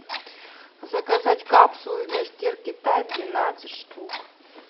заказать капсулы для стирки тайд двенадцать штук